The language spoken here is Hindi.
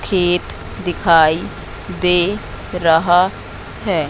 खेत दिखाई दे रहा हैं।